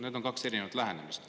Need on kaks erinevat lähenemist.